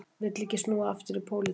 Vill ekki snúa aftur í pólitík